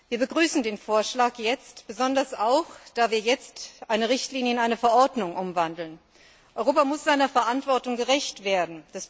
Wir begrüßen den Vorschlag jetzt besonders auch, weil wir jetzt eine Richtlinie in eine Verordnung umwandeln. Europa muss seiner Verantwortung gerecht werden.